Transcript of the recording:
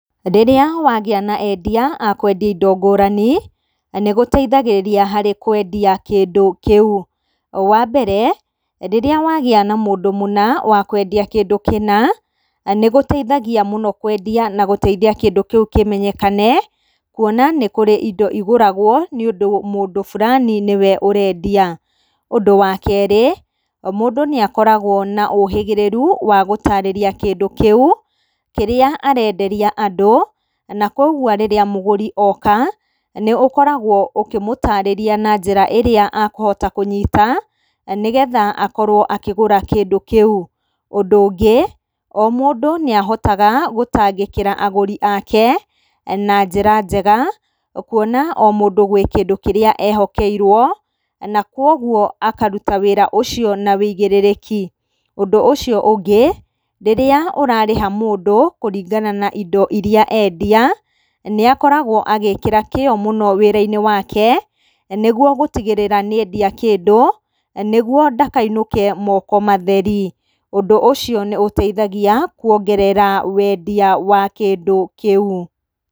Rĩrĩa wagĩa na endia a kũenia indo ngũrani, nĩ gũteithagĩrĩria harĩ kwendia kĩndũ kĩu. Wa mbere, rĩrĩa wagĩa na mũndũ mũna wa kwendia kĩndũ kĩna, nĩ gũteithagia mũno kwendia na gũteithia kĩndũ kĩu kĩmenyekane, kuona nĩ kũrĩ indo igũragwo nĩ ũndũ mũndũ burani nĩwe ũrendia. ũndũ wa kerĩ, mũndũ nĩakoragwo na ũhĩgĩrĩru wa gũtarĩria kĩndũ kĩu kĩrĩa arenderia andũ na koguo rĩrĩa mũgũri oka, nĩũkoragwo ũkĩmũtarĩria na njĩra ĩrĩa akũhota kũnyita, nĩgetha akorwo akĩgũra kĩndũ kĩu. Ũndũ ũngĩ, o mũndũ nĩ ahotaga gũtangĩkĩra agũri ake na njĩra njega, kuona o mũndũ gwĩ kĩrĩa e hokeirwo na kũoguo akaruta wĩra ũcio na ũigĩrĩrĩki. Ũndũ ũcio ũngĩ, rĩrĩa ũrarĩha mũndũ kũringana indo iria endia, nĩ akoragwo agĩkĩra kĩo mũno wĩra-inĩ wake nĩguo gũtigĩrĩra nĩendia kĩndũ nĩguo ndakainũke moko matheri. Ũndũ ũcio nĩ ũteithagia kuongerera wendia wa kĩndũ kĩu.